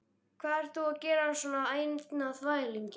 Hvað ert þú að gera svona einn á þvælingi?